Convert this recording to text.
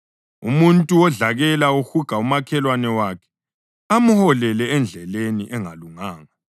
Umuntu wodlakela uhuga umakhelwane wakhe amholele endleleni engalunganga.